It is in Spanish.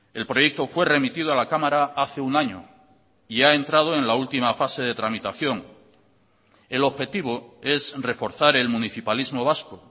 el proyecto fue remitido a la cámara hace un año y ha entrado en la última fase de tramitación el objetivo es reforzar el municipalismo vasco